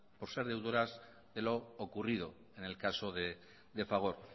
por ser deudoras de lo ocurrido en el caso de fagor